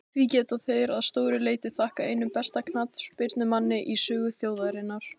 Því geta þeir að stóru leyti þakkað einum besta knattspyrnumanni í sögu þjóðarinnar.